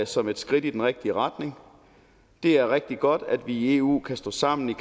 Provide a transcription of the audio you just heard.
som et skridt i den rigtige retning det er rigtig godt at vi i eu kan stå sammen i